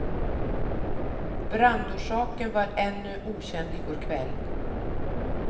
Brandorsaken var ännu okänd i går kväll.